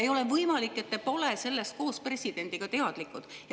Ei ole võimalik, et teie ja president pole sellest teadlikud.